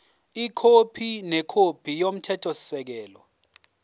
ikhophi nekhophi yomthethosisekelo